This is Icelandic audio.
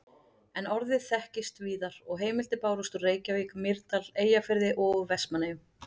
En orðið þekktist víðar og heimildir bárust úr Reykjavík, Mýrdal, Eyjafirði og úr Vestmannaeyjum.